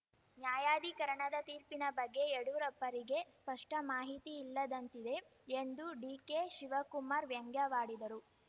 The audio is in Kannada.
ನ್ಯಾಯಾಧೀಕರಣದ ತೀರ್ಪಿನ ಬಗ್ಗೆ ಯಡ್ಯೂರಪ್ಪರಿಗೆ ಸ್ಪಷ್ಟಮಾಹಿತಿ ಇಲ್ಲದಂತಿದೆ ಎಂದು ಡಿಕೆಶಿವಕುಮಾರ್‌ ವ್ಯಂಗ್ಯವಾಡಿದರು